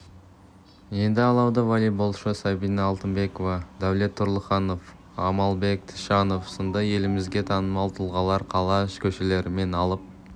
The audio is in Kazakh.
енді алауды веллейболшы сәбина алтынбекова дәулет тұрлыханов амалбек тішанов сынды елімізге танымал тұлғалар қала көшелерімен алып